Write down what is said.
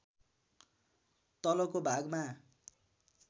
तलको भागमा